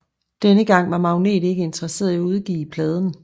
Denne gang var Magnet ikke interesserede i at udgive pladen